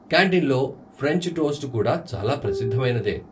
కాంటీన్లో French toast కూడా చాలా ప్రసిద్ధమైనదే.